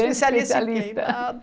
Especialista em nada.